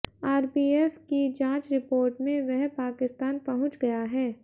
RPF की जांच report में वह पाकिस्तान पहुंच गया है